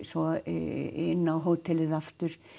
svo inn á hótelið aftur